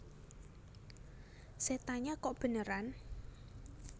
Setannya Kok Beneran